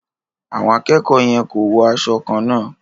Àwọn akẹ́kọ̀ọ́ yẹn ko wo aṣọ kànna.